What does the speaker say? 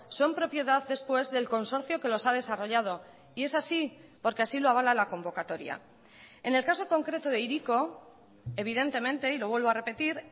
son propiedad después del consorcio que los ha desarrollado y es así porque así lo avala la convocatoria en el caso concreto de hiriko evidentemente y lo vuelvo a repetir